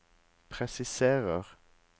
presiserer